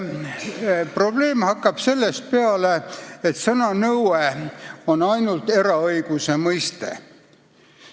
Probleem hakkab sellest peale, et sõna "nõue" on ainult eraõiguse mõiste.